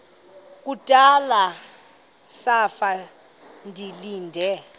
kudala zafa ndilinde